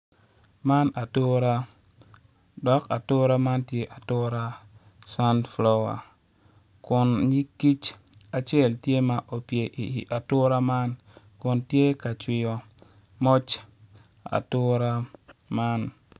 Man atura dok atura man tye atura sunflower kun nyig kic acel tye ma opye i atura man kun tye ka cwiyo moc atura.